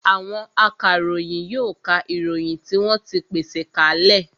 Àwọn akaròyìn yóò ka ìròyìn tí wọ́n ti pèsè ka lẹ̀